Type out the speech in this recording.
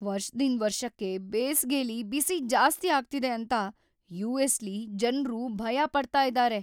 ವರ್ಷದಿಂದ್ ವರ್ಷಕ್ಕೆ ಬೇಸ್ಗೆಲಿ ಬಿಸಿ ಜಾಸ್ತಿ ಆಗ್ತಿದೆ ಅಂತ ಯುಎಸ್‌ಲಿ ಜನ್ರು ಭಯ ಪಡ್ತಾ ಇದ್ದಾರೆ.